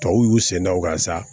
Tɔw y'u sen da o kan sa